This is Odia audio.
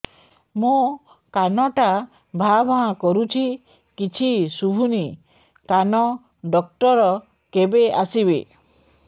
ମୋ କାନ ଟା ଭାଁ ଭାଁ କରୁଛି କିଛି ଶୁଭୁନି କାନ ଡକ୍ଟର କେବେ ଆସିବେ